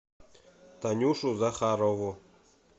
танюшу захарову